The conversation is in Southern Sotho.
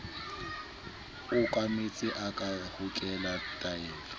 okametseng a ka hokela taelong